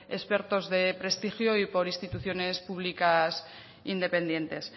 expertos de prestigio y por instituciones públicas independientes